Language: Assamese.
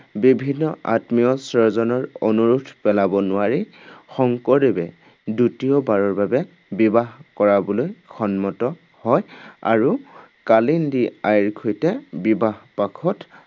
বিভিন্ন আত্মীয় স্বজনৰ অনুৰোধ পেলাব নোৱাৰি, শংকৰদেৱে দ্বিতীয়বাৰৰ বাবে বিবাহ কৰাবলৈ সন্মত হয়। আৰু কালিন্দী আইৰ সৈতে বিবাহপাশত